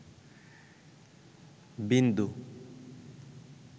বিন্দু